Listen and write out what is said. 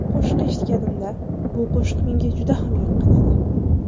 Qo‘shiqni eshitganimda, bu qo‘shiq menga juda ham yoqqan edi.